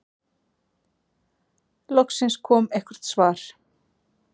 Loksins kom eitthvert svar.